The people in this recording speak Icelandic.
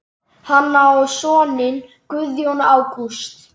Hann á soninn Guðjón Ágúst.